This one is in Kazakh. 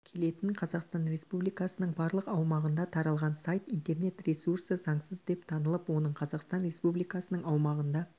келетін қазақстан республикасының барлық аумағында таралған сайт интернет-ресурсы заңсыз деп танылып оның қазақстан республикасының аумағында